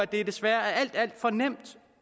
det desværre er alt alt for nemt